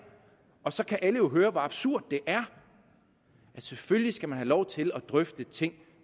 så kan alle jo høre hvor absurd det er selvfølgelig skal man have lov til at drøfte ting